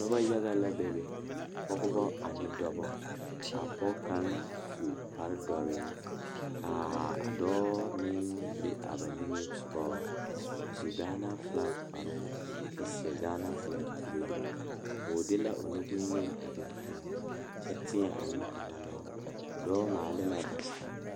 Noba yaga la bebe dɔɔba ane pɔgeba kaa pɔge kaŋ su kpare doɔre kaa dɔɔ meŋ be a ba niŋe saŋ a su Gaana falakyɛ kpare a seɛ Gaana falakyɛ kuri ka o nu bonyene a biŋ teŋa kyɛ teɛ a nu kaŋa meŋ a dɔɔ maale la pata.